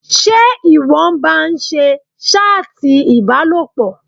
Ṣé ìwọ ń ba ń ṣe ṣátì ìbálòpọ̀?